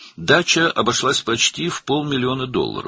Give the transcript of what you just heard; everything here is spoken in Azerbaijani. Bağ evi demək olar ki, yarım milyon dollara başa gəldi.